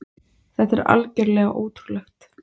Þetta er algjörlega ótrúlegt!